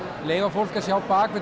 leyfa fólki að sjá